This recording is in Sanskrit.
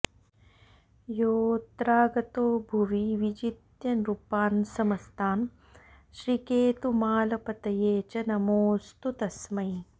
योऽत्रागतो भुवि विजित्य नृपान्समस्तान् श्रीकेतुमालपतये च नमोऽस्तु तस्मै